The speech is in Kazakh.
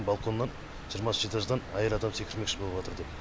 балконнан жиырмасыншы этаждан әйел адам секірмекші болыватыр деп